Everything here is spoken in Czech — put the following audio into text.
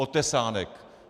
Otesánek!